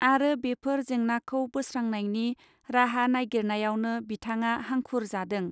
आरो बेफोर जेंनाखौ बोस्रांनायनि राहा नायगिरनायावनो बिथाङा हांखुर जादों.